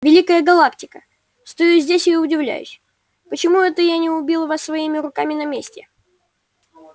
великая галактика стою здесь и удивляюсь почему это я не убил вас своими руками на месте